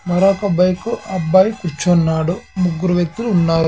మరొక బైకు అబ్బాయి కూర్చున్నాడు ముగ్గురు వ్యక్తులు ఉన్నారు .